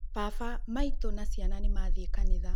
Baba, maitũ, na ciana nĩmathiĩ kanitha